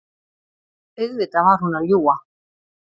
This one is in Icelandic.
Auðvitað var hún að ljúga.